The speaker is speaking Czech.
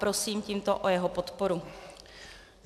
Prosím tímto o jeho podporu.